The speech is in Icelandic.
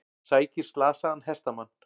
Sækir slasaðan hestamann